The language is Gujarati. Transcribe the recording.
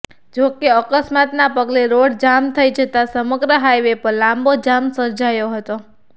જો કે અકસ્માતનાં પગલે રોડ જામ થઇ જતા સમગ્ર હાઇવે પર લાંબો જામ સર્જાયો હતો